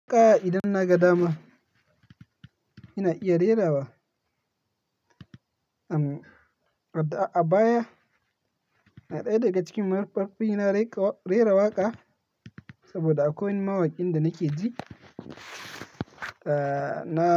Haka idan na ga dama, ina iya rera wa. Am, a baya na ɗaya daga cikin mafarkafi ina rera waƙa saboda akwai mawakin da nake ji. Na.